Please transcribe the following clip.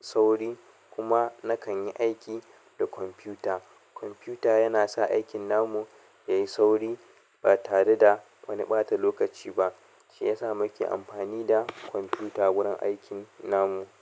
sauri, kuma nakan yi aiki da kwamfuta. Kwamfuta yana sa aikin namu ya yi sauri ba tare da wani ɓata lokaci ba, shi yasa muke amfani da kwamfuta wurin aikin namu.